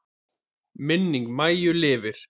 Minning Maju lifir.